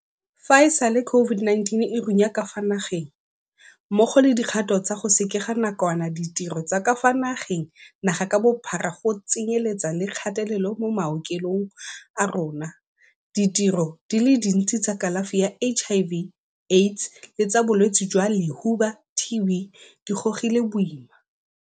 Fa e sale COVID-19 e runya ka fa naegeng, mmogo le dikgato tsa go sekega nakwana ditiro tsa ka fa nageng naga ka bophara go tsenyeletsa le kgatelelo mo maokelong a rona, ditirelo di le dintsi tsa kalafi ya HIV, AIDS le tsa Bo-lwetse jwa Lehuba, TB, di gogile boima.